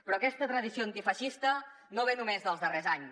però aquesta tradició antifeixista no ve només dels darrers anys